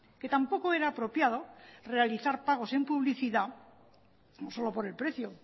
que tampoco era apropiado realizar pagos en publicidad no solo por el precio